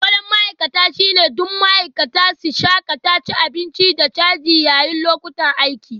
Falon ma'aikata shine don ma'aikata su shakata cin abinci da caji yayin lokutan aiki